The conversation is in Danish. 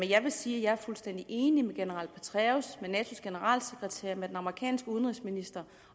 jeg vil sige at jeg er fuldstændig enig med general petraeus med natos generalsekretær med den amerikanske udenrigsminister